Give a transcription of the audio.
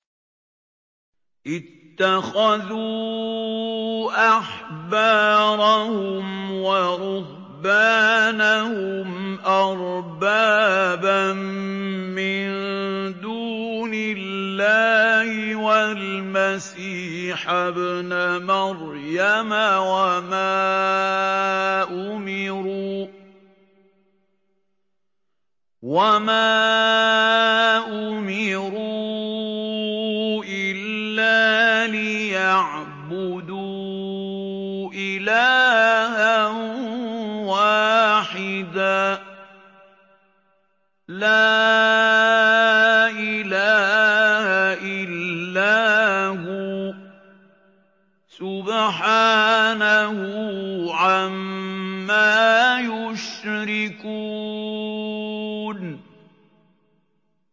اتَّخَذُوا أَحْبَارَهُمْ وَرُهْبَانَهُمْ أَرْبَابًا مِّن دُونِ اللَّهِ وَالْمَسِيحَ ابْنَ مَرْيَمَ وَمَا أُمِرُوا إِلَّا لِيَعْبُدُوا إِلَٰهًا وَاحِدًا ۖ لَّا إِلَٰهَ إِلَّا هُوَ ۚ سُبْحَانَهُ عَمَّا يُشْرِكُونَ